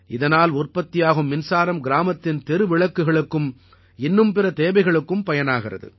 இதனால் உற்பத்தியாகும் மின்சாரம் கிராமத்தின் தெருவிளக்குகளுக்கும் இன்னும் பிற தேவைகளுக்கும் பயனாகிறது